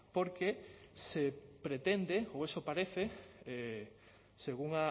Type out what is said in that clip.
porque se pretende o eso parece según